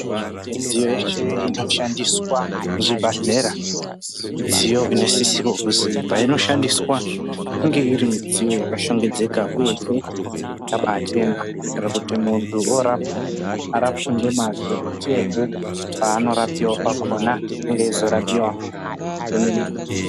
Midziyo yese inoshandiswa muzvibhadhlera midziyo inosisirwa kuzi painoshandiswa inge iri midziyo yakashongedzeka, uyehe yakabachena kuti muntu orapwa arapwe ngemazvo, uyehe paanorapiva pakona inge eizorapiva zvemene-mene.